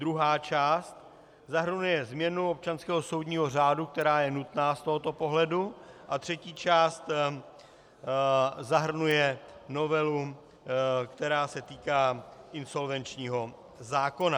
Druhá část zahrnuje změnu občanského soudního řádu, která je nutná z tohoto pohledu, a třetí část zahrnuje novelu, která se týká insolvenčního zákona.